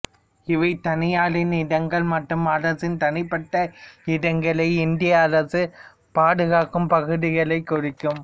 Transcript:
இவை தனியாரின் இடங்கள் மற்றும் அரசின் தனிப்பட்ட இடங்களை இந்திய அரசு பாதுகாகும் பகுதிளைக் குறிக்கும்